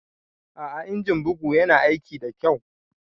A'a injin buga Yana aiki da kyau.